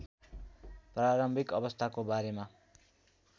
प्रारम्भिक अवस्थाको बारेमा